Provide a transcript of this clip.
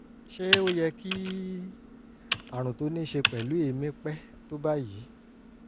ṣé ó yẹ kí àrùn tó ní í ṣe pẹ̀lú èémí pẹ́ tó báyìí?